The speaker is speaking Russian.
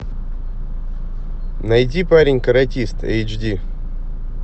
найди парень каратист эйч ди